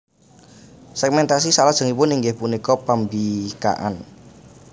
Segmentasi saklajengipun inggih punika pambikaan